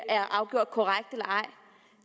er afgjort korrekt eller ej